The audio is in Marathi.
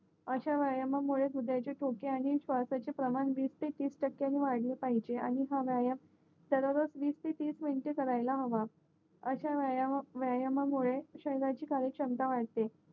अश्या व्यायामामुळे हृदयाचेठोके आणि श्वाशचे प्रमाण वीस ते तीस टाक्यानी वाडले पाहिजे आणि हा व्यायाम दररोज वीस ते तीस मिनटं करायला हवा अशा व्यायाम मुले शरीराची क्षमता वाढते